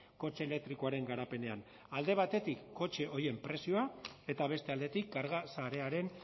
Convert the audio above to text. kotxe elektrikoaren garapenean alde batetik kotxe horien prezioa eta beste aldetik karga sarearen